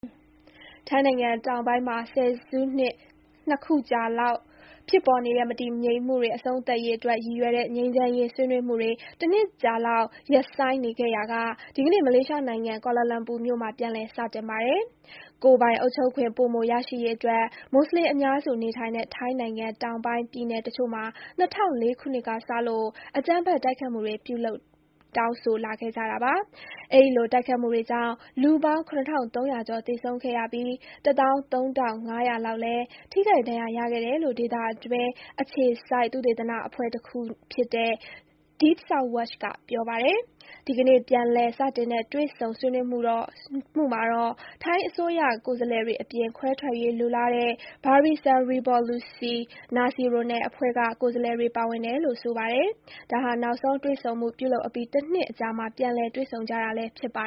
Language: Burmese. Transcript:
ထိုင်းနိုင်ငံတောင်ပိုင်းမှာ ဆယ်စုနှစ် နှစ်ခုကြာလောက် ဖြစ်ပေါ်နေတဲ့ မတည်ငြိမ်မှုတွေ အဆုံးသတ်ရေးအတွက် ရည်ရွယ်တဲ့ ငြိမ်းချမ်းရေး ဆွေးနွေးမှုတွေ တနှစ်ကြာလောက် ရပ်ဆိုင်းနေခဲ့ရာက ဒီကနေ့ မလေးရှားနိုင်ငံ၊ ကွာလာလမ်ပူမြို့မှာ ပြန်လည် စတင်ပါတယ်။ ကိုယ်ပိုင်အုပ်ချုပ်ခွင့် ပိုမိုရရှိရေးအတွက် မွတ်ဆလင်အများစုနေထိုင်တဲ့ ထိုင်းနိုင်ငံ တောင်ပိုင်းပြည်နယ်တချို့မှာ ၂၀၀၄ ခုနှစ်ကစလို့ အကြမ်းဖက် တိုက်ခိုက်မှုတွေ ပြုလုပ် တောင်းဆိုလာခဲ့ကြတာပါ။ အဲဒီလို တိုက်ခိုက်မှုတွေကြာင့် လူပေါင်း ၇,၃၀၀ ကျော် သေဆုံးခဲ့ရပြီး ၁၃,၅၀၀ လောက်လည်း ထိခိုက် ဒဏ်ရာရခဲ့တယ်လို့ ဒေသအတွင်းအခြေစိုက် သုတေသနအဖွဲ့တခုဖြစ်တဲ့ Deep South Watch က ပြောပါတယ်။ ဒီကနေ့ ပြန်လည်စတင်တဲ့ တွေ့ဆုံ ဆွေးနွေးမှုမှာတော့ ထိုင်းအစိုးရ ကိုယ်စားလှယ်တွေအပြင် ခွဲထွက်ရေးလိုလားတဲ့ Barisan Revolusi Nasional အဖွဲ့က ကိုယ်စားလှယ်တွေ ပါဝင်တယ်လို့ ဆိုပါတယ်။ ဒါဟာ နောက်ဆုံးတွေ့ဆုံမှု ပြုလုပ်အပြီး တနှစ်အကြာမှာ ပြန်လည် တွေ့ဆုံကြတာလည်း ဖြစ်ပါ